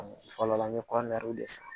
Fɔlɔ la an bɛ de san